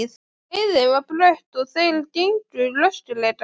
Leiðin var brött og þeir gengu rösklega.